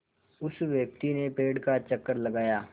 उस व्यक्ति ने पेड़ का चक्कर लगाया